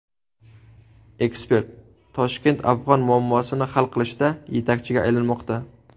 Ekspert: Toshkent afg‘on muammosini hal qilishda yetakchiga aylanmoqda.